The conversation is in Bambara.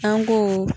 An ko